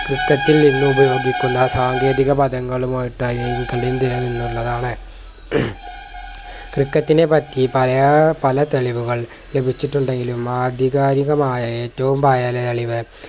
ക്രിക്കറ്റിൽ നിന്നുപയോഗിക്കുന്ന സാങ്കേതിക പദങ്ങളുമായിട്ട് . ക്രിക്കറ്റിനെ പറ്റി പറയ പല തെളിവുകൾ ലഭിച്ചിട്ടുണ്ടെങ്കിലും ആധികാരികമായ ഏറ്റവും പഴയ തെളിവ്